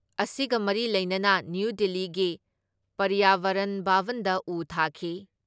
ꯑꯁꯤꯒ ꯃꯔꯤ ꯂꯩꯅꯅ ꯅ꯭ꯌꯨ ꯗꯤꯜꯂꯤꯒꯤ ꯄꯔꯤꯌꯥꯕꯔꯟ ꯚꯥꯕꯟꯗ ꯎ ꯊꯥꯈꯤ ꯫